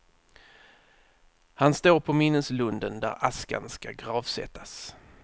Han står på minneslunden där askan ska gravsättas.